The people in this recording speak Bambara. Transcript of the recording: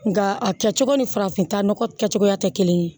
Nga a kɛcogo ni farafinta nɔgɔ kɛcogoya tɛ kelen ye